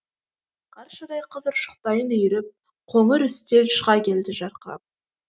қаршадай қыз ұршықтайын үйіріп қоңыр үстел шыға келді жарқырап